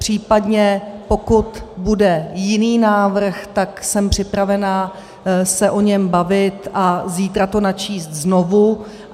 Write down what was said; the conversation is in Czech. Případně pokud bude jiný návrh, tak jsem připravena se o něm bavit a zítra to načíst znovu.